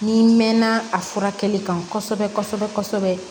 N'i mɛnna a furakɛli kan kosɛbɛ kosɛbɛ